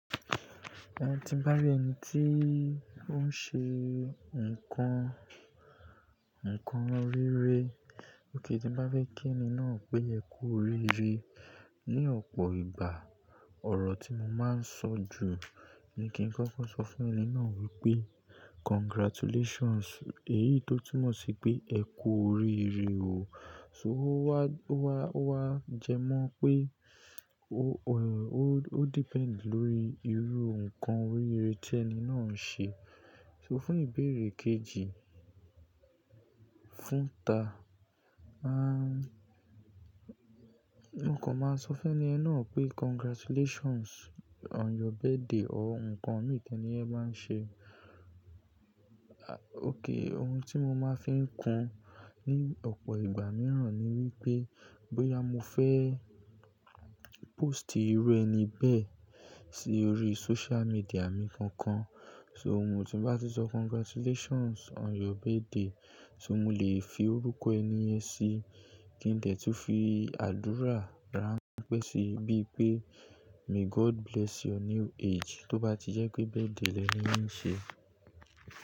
Ohun tí bá rẹ̀ ẹni tí ó ń ṣe nǹkan, nǹkan rere, òkè tí bá fẹ́ kí ẹni náà pé e ku orire. Ni ọ̀pọ̀ ìgbà, ọ̀rọ̀ tí mo máa ń sọ jù ni kí n kọ́kọ́ sọ fún ẹni náà wípé congratulations, èyí tó túmọ̀ sí pé ẹ kú oríire o. So wá, wá, wá jẹ mọ́ pé ó, ó, ó depend lórí irú nǹkan rere tí ẹni náà ń ṣe. So fún ìbéèrè kejì, fúnta, aah, nǹkan máa ń sọ fún ẹni náà pé congratulations on your birthday or nǹkan mii tẹni yẹ báa ń ṣe. Ah, óké ohun tí mo máa ń fi ń kún ní ọ̀pọ̀ ìgbà míràn ni wípé bóyá mo fẹ́ post irú ẹni bẹ́ẹ̀ sí orí social media mi kankan. So ohun tí bá ti sọ congratulations on your birthday, ṣé mo lè fi orúkọ ẹni yẹn sí? Kí n dẹ̀tú fi àdúrà rán pẹ́ sí i bíi pé may God bless your new age, tó bá ti jẹ́ pé birthday lẹ́ni ye n ṣe.